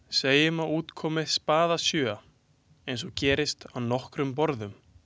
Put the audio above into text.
Segjum að út komi spaðasjöa, eins og gerðist á nokkrum borðum.